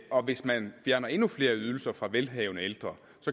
hvis man fjerner endnu flere ydelser fra velhavende ældre